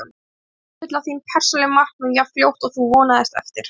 Ertu að uppfylla þín persónulegu markmið jafn fljótt og þú vonaðist eftir?